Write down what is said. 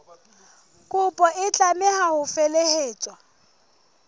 kopo e tlameha ho felehetswa